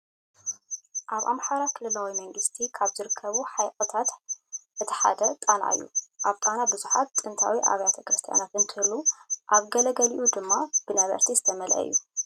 ኣብ ኣምሃራ ክልላዊ መንግስቲ ካብ ዝርከቡ ሓይቅታት እቲ ሓደ ጣና እዩ። ኣብ ጣና ብዙሓት ጥንታዊ ኣብያተ ክርስቲያን እንትህልው ኣብ ግለገሊኡ ድማ ብነበርቲ ዝተመልዐ እዩ።